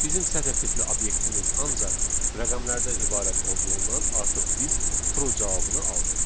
Bizim sətir tipli obyektimiz ancaq rəqəmlərdən ibarət olduğundan, artıq biz true cavabını aldıq.